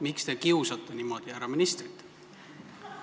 Miks te kiusate niimoodi härra ministrit?